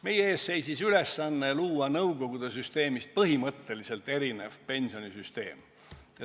Meie ees seisis ülesanne luua nõukogude süsteemist põhimõtteliselt erinev pensionisüsteem.